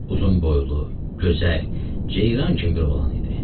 Uzunboylu, gözəl, ceyran kimi bir oğlan idi.